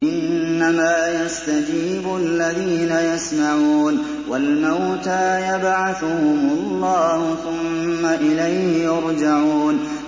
۞ إِنَّمَا يَسْتَجِيبُ الَّذِينَ يَسْمَعُونَ ۘ وَالْمَوْتَىٰ يَبْعَثُهُمُ اللَّهُ ثُمَّ إِلَيْهِ يُرْجَعُونَ